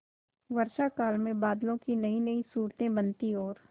वर्षाकाल में बादलों की नयीनयी सूरतें बनती और